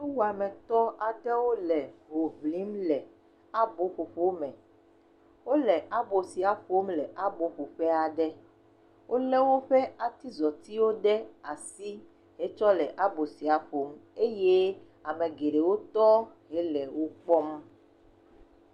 Nuwɔmetɔ aɖew le ho ɔlim le aboƒoƒo me. Wo le abo sia ƒom le abo ƒoƒe aɖe. wo le woƒe atizɔtiwo ɖe asi etsɔ le abo sia ƒom eye ame geɖewo tɔ hele wokpɔm.